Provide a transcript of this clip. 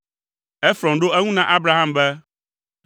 Efrɔn ɖo eŋu na Abraham be,